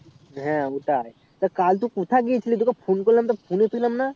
হ্যাঁ ওটাই তো কাল তুই কথা গিয়েছিলি তোকে phone করলাম তা phone নে পেলাম না